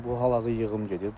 Bu hal-hazırda yığım gedir.